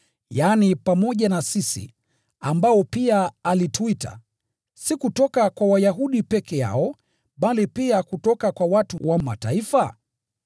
yaani pamoja na sisi, ambao pia alituita, si kutoka kwa Wayahudi peke yao, bali pia kutoka kwa watu wa Mataifa?